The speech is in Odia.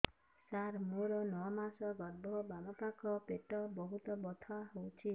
ସାର ମୋର ନଅ ମାସ ଗର୍ଭ ବାମପାଖ ପେଟ ବହୁତ ବଥା ହଉଚି